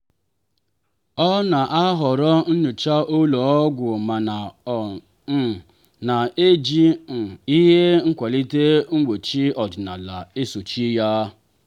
ọ na-ahọrọ nyocha ụlọ ọgwụ mana ọ um na-eji um ihe nkwalite mgbochi ọdịnala esochi ya.